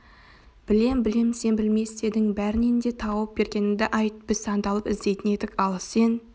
білем білем сен білмей істедің бәрінен де тауып бергеніңді айт біз сандалып іздейтін едік ал сен